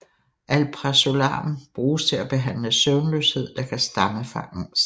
Alprazolam bruges til at behandle søvnløshed der kan stamme fra angst